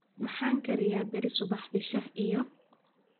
maxan kariyaa beri subaxdii shah iyo